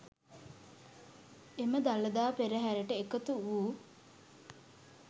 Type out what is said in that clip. එම දළදා පෙරහරට එකතු වූ